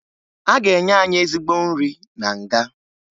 A ga-enye anyị ezigbo nri na nga